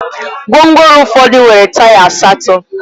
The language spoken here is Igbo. Gwongworo ụfọdụ nwere taya asatọ